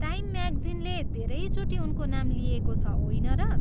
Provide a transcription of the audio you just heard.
Time म्यागजिनले धेरैचोटि उनको नाम लिएको छ, होइन र?